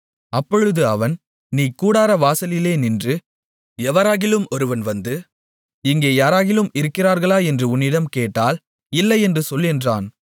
அப்பொழுது அவன் நீ கூடாரவாசலிலே நின்று எவராகிலும் ஒருவன் வந்து இங்கே யாராகிலும் இருக்கிறார்களா என்று உன்னிடம் கேட்டால் இல்லை என்று சொல் என்றான்